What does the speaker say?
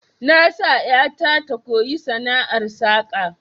Na sa ƴata ta koyi sana'ar saka